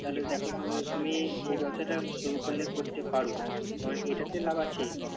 তাহলে দেখো তুমি এ ব্যবসাটা শুরু করলে করতে পারো কারন এটাতে লাভ আছেই।